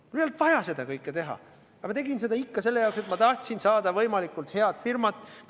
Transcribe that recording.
Mul ei olnud vaja seda kõike teha, aga ma tegin seda ikkagi, sest ma tahtsin saada võimalikult head firmat.